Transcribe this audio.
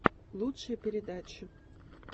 лучшие передачи